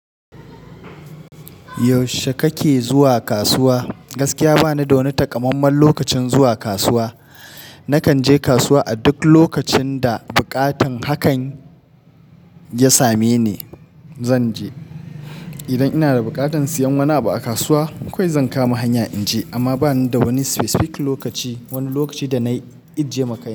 Yaushe kake zuwa kasuwa? Gaskiya ba ni da wani takammamen lokacin zuwa kasuwa. Nakan je kasuwa a duk lokacin da buƙatan hakan ya same ni zan je. Idan ina da buƙatan siyan wani abu a kasuwa, kawai zan kama hanya in je. Amma ba ni da wani specific lokaci, wani lokaci da na i je makai.